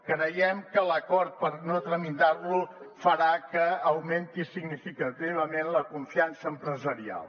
creiem que l’acord per no tramitar lo farà que augmenti significativament la confiança empresarial